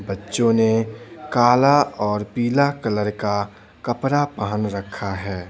बच्चों ने कालाऔर पीला कलर का कपरा पहन रखा है।